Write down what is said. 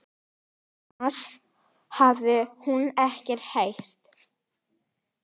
Annars hafði hún ekkert heyrt.